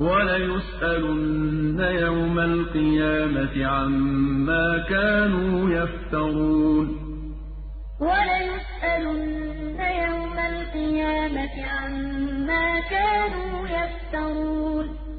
وَلَيُسْأَلُنَّ يَوْمَ الْقِيَامَةِ عَمَّا كَانُوا يَفْتَرُونَ وَلَيَحْمِلُنَّ أَثْقَالَهُمْ وَأَثْقَالًا مَّعَ أَثْقَالِهِمْ ۖ وَلَيُسْأَلُنَّ يَوْمَ الْقِيَامَةِ عَمَّا كَانُوا يَفْتَرُونَ